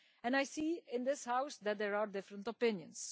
I see in this House that there are different opinions.